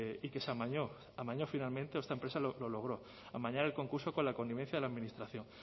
y que se amañó amañó finalmente esta empresa lo logró amañar el concurso con la connivencia de la administración